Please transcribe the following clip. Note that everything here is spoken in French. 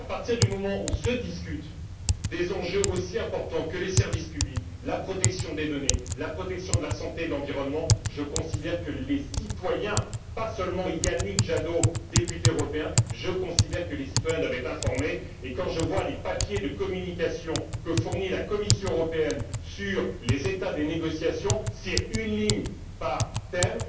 À partir du moment où se discutent des enjeux aussi importants que les services publics, la protection des données, la protection de la santé et de l'environnement, je considère que les citoyens et pas seulement Yannick Jadot, député européen doivent être informés et quand je vois les papiers de communication que fournit la Commission européenne sur les états des négociations, j'y trouve une ligne par thème.